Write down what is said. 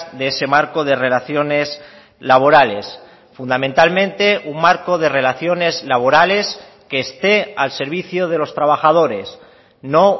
de ese marco de relaciones laborales fundamentalmente un marco de relaciones laborales que esté al servicio de los trabajadores no